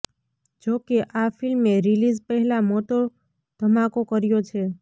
જોકે આ ફિલ્મે રિલીઝ પહેલા મોટો ધમાકો કર્યો છે